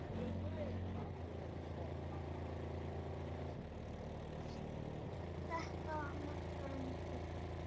Þetta markaði nýtt upphaf.